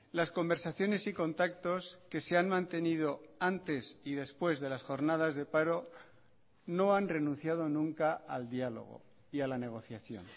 las conversaciones y contactos que se han mantenido antes y después de las jornadas de paro no han renunciado nunca al diálogo y a la negociación